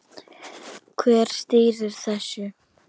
Hver stýrir þessu?